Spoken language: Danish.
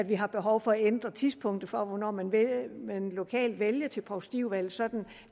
vi har behov for at ændre tidspunktet for hvornår man lokalt vælger til provstiudvalget sådan